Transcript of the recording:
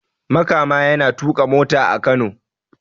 Makama yana tuka mota a Kano